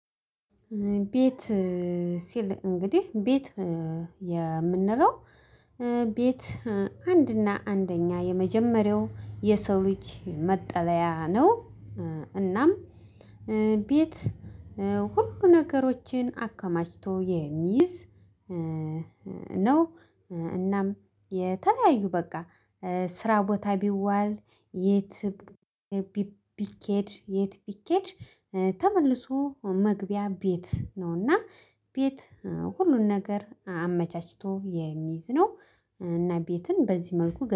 ቤት ሲል እንግዲህ፤ ቤት የምንለው ቤት አንድና አንደኛ የመጀመሪያው የሰው ልጅ መጠለያ ነው። እናም ቤት ሁሉ ነገሮችን አከማችቶ የሚይዝ ነው። እናም የተለያዩ በቃ ስራ ቦታ ቢዋል፤ የት ቢኬድ የት ቢኬድ ተመልሶ መግቢያ ቤት ነው እና፥ ቤት ሁሉን ነገር አመቻችቶ የሚይዝ ነው። እና ቤትን በዚህ መልኩ